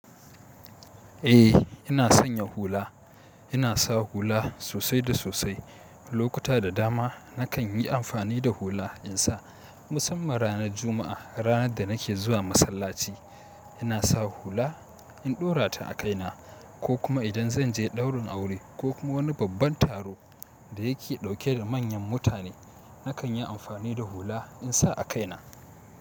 Eh ina sanya hula, ina sa hula sosai da sosai. Lokuta da dama nakan yi amfani da hula in sa. Musamman ranar Juma'a, ranar da nake zuwa masallaci, ina sa hula in ɗora ta a kaina ko kuma idan zan je ɗaurin aure ko kuma wani babban taro da yake ɗauke da manyan mutane, nakan yi amfani da hula in sa a kaina.